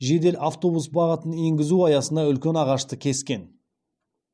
жедел автобус бағытын енгізу аясында үлкен ағашты кескен